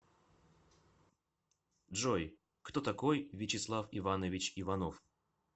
джой кто такой вячеслав иванович иванов